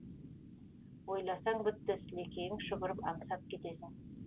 ойласаң бітті сілекейің шұбырып аңсап кетесің